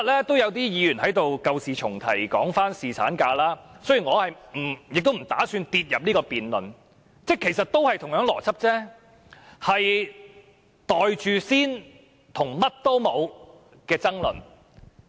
我不打算討論侍產假這個議題，但兩者其實邏輯相同，都是圍繞"袋住先"和"乜都冇"的爭論。